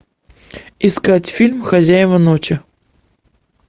искать фильм хозяева ночи